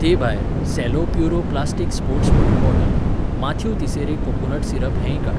ते भायर, Cello Puro plastic sports water bottle, Mathew तिसेरे कोकोनट सिरप हेंय काड.